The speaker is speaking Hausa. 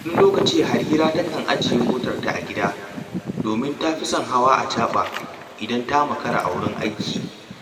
Wani lokacin Harira takan ajiye motarta a gida, domin ta fi son hawa acaɓa idan ta makara a wurin aiki